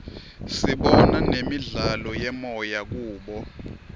sibona nemidlalo yemoya kubo